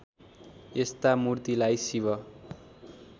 यस्ता मूर्तिलाई शिव